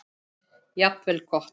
Jafnvel gott.